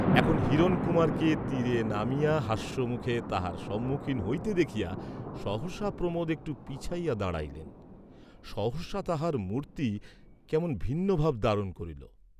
এখন হিরণকুমারকে তীরে নামিয়া হাস্যমুখে তাঁহার সম্মুখীন্ হইতে দেখিয়া সহসা প্রমোদ একটু পিছাইয়া দাঁড়াইলেন, সহসা তাঁহার মূর্ত্তি কেমন ভিন্নভাব ধারণ করিল।